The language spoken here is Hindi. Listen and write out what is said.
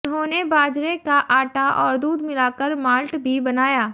उन्होंने बाजरे का आटा और दूध मिलाकर माल्ट भी बनाया